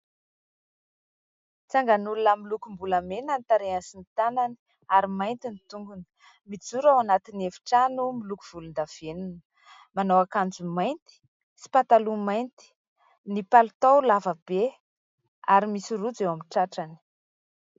Tsanganolona milokombolamena ny tarehany sy ny tanany ary mainty ny tongony mijoro eo antin'ny efitrano miloko volondavenona manao akanjo mainty sy pataloha mainty ny palitao lavabe ary misy rojo eo amin'ny tratrany